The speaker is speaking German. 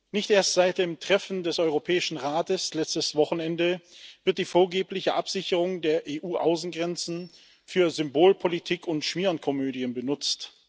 Nicht erst seit dem Treffen des Europäischen Rates letztes Wochenende wird die vorgebliche Absicherung der EU Außengrenzen für Symbolpolitik und Schmierenkomödien benutzt.